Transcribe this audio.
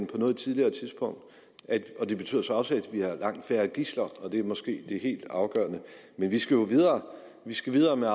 på noget tidligere tidspunkt det betyder så også at der er langt færre gidsler og det er måske det helt afgørende men vi skal jo videre vi skal videre med